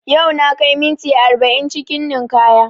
Yau na kai minti arba'in cikin ninkaya